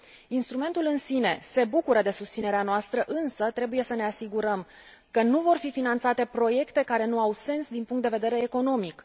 Instrumentul în sine se bucură de susținerea noastră, însă trebuie să ne asigurăm că nu vor fi finanțate proiecte care nu au sens din punct de vedere economic.